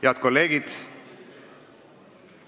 Head kolleegid!